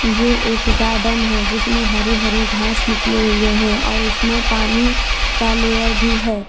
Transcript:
ये एक गॉर्डन है जिसमें हरे हरे घास निकले हुए हैं और इसमें पानी का लेयर भी है।